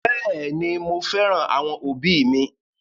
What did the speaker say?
Bẹẹni, mo féràn àwọn òbí mi